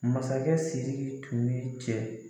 Masakɛ Siriki tun ye cɛ